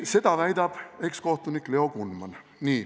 Seda väidab ekskohtunik Leo Kunman.